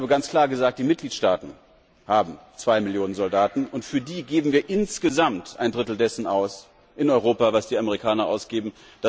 Ich habe ganz klar gesagt Die Mitgliedstaaten haben zwei Millionen Soldaten, und für die geben wir in Europa insgesamt ein Drittel dessen aus, was die Amerikaner ausgeben.